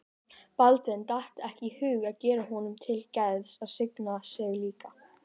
Baldvin datt ekki í hug að gera honum til geðs að signa sig líka.